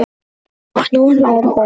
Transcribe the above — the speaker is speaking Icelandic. Og nú hlær hún.